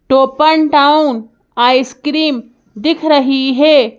टोपन Town ice cream दिख रही है।